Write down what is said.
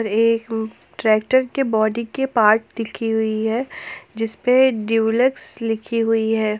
एक ट्रैक्टर के बॉडी के पार्ट देखी हुई है जिस पे डीलक्स लिखी हुई है।